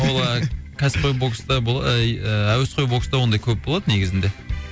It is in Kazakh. ол і әсіпқой бокста әуесқой бокста ондай көп болады негізінде